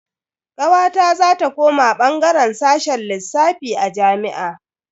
Kawata za ta koma bangaren sashen lissafi a jami'a.